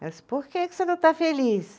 Ela disse, por que que você não está feliz?